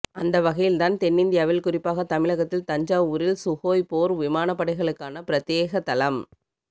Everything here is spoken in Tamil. அந்த வகையில் தான் தென்னிந்தியாவில் குறிப்பாக தமிழகத்தின் தஞ்சாவூரில் சுகோய் போர் விமானப்படைகளுக்கான பிரத்யேக தளம்